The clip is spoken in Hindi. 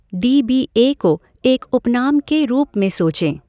डी बी ए को एक उपनाम के रूप में सोचें।